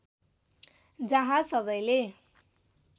जहाँ सबैले